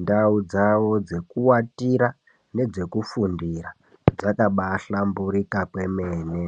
ndau dzawo dzeku watira ngeze kufundira dzaka bai dhlamburuka kwemene.